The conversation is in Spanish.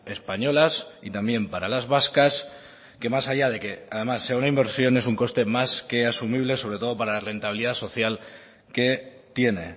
españolas y también para las vascas que más allá de que además sea una inversión es un coste más que asumible sobre todo para la rentabilidad social que tiene